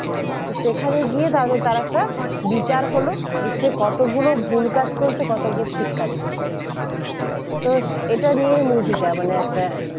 তো সেখানে গিয়ে তার একটা বিচার হলো যে সে কতগুলো ভুল কাজ করেছে কতগুলো ঠিক কাজ করেছে তো এটা নিয়েই movie টা মানে একটা